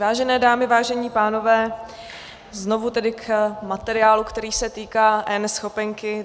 Vážené dámy, vážení pánové, znovu tedy k materiálu, který se týká eNeschopenky.